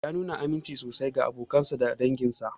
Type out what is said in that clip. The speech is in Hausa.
Ya nuna aminci sosai ga abokansa da danginsa.